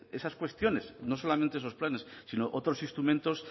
esas cuestiones no solamente esos planes sino otros instrumentos